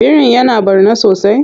Birin ya na ɓarna sosai?